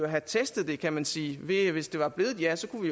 have testet det kan man sige ved at vi hvis det var blevet et ja så kunne